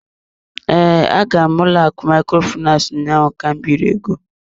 Ee, agara m ụlọ akụ Microfinance ụnyaahụ ka m biri ego.